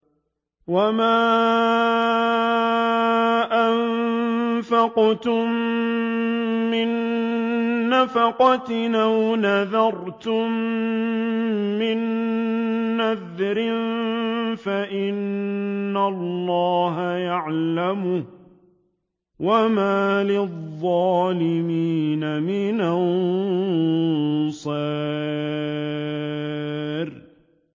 وَمَا أَنفَقْتُم مِّن نَّفَقَةٍ أَوْ نَذَرْتُم مِّن نَّذْرٍ فَإِنَّ اللَّهَ يَعْلَمُهُ ۗ وَمَا لِلظَّالِمِينَ مِنْ أَنصَارٍ